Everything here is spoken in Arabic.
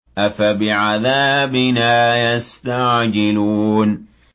أَفَبِعَذَابِنَا يَسْتَعْجِلُونَ